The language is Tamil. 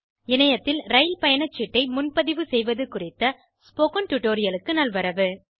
இணையத்தில் ரயில் பயணச்சீட்டை முன்பதிவு செய்வது குறித்த ஸ்போகன் டுடோரியலுக்கு நல்வரவு